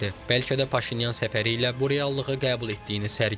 Bəlkə də Paşinyan səfəri ilə bu reallığı qəbul etdiyini sərgiləyir.